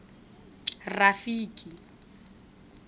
rafiki